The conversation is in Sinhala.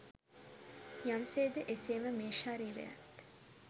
යම් සේද එසේම මේ ශරීරයත්